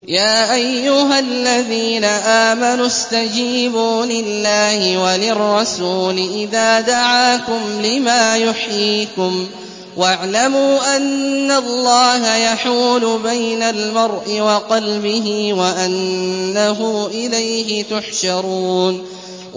يَا أَيُّهَا الَّذِينَ آمَنُوا اسْتَجِيبُوا لِلَّهِ وَلِلرَّسُولِ إِذَا دَعَاكُمْ لِمَا يُحْيِيكُمْ ۖ وَاعْلَمُوا أَنَّ اللَّهَ يَحُولُ بَيْنَ الْمَرْءِ وَقَلْبِهِ وَأَنَّهُ إِلَيْهِ تُحْشَرُونَ